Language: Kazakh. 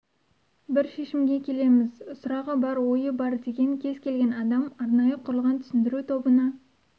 бір шешімге келеміз сұрағы бар ойы бар деген кез келген адам арнайы құрылған түсіндіру тобына